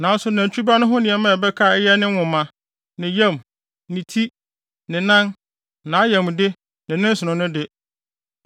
Nanso nantwi ba no ho nneɛma a ɛbɛka a ɛyɛ ne nwoma, ne nam, ne ti, ne nan, nʼayamde, ne ne nsono no de,